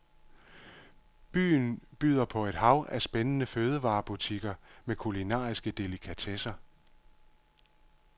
Byen byder på et hav af spændende fødevarebutikker med kulinariske delikatesser.